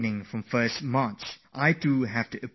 I have to take an exam tomorrow